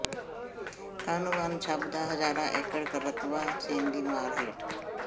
ਕਾਹਨੂੰਵਾਨ ਛੰਭ ਦਾ ਹਜ਼ਾਰਾਂ ਏਕੜ ਰਕਬਾ ਸੇਮ ਦੀ ਮਾਰ ਹੇਠ